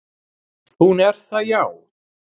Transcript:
"""Hún er það, já."""